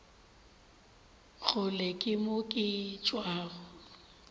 kgole ke mo ke tšwago